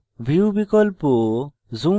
view বিকল্প